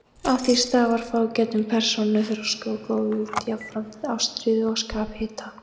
Af því stafar fágætum persónuþroska og góðvild, jafnframt ástríðu og skaphita.